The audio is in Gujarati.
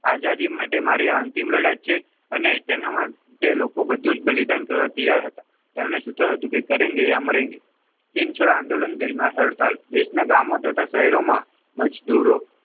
આઝાદી માટે મારી આ અંતિમ લડાઈ છે. અને તેના માટે લોકો બધું જ બલિદાન કરવા તૈયાર હતા. તેમનું સૂત્ર હતું કે કરેંગે યા મરેંગે ઇન શોર્ટ આંદોલન દરમિયાન હડતાલ દેશના ગામો તથા શહેરોમાં મજદૂરો,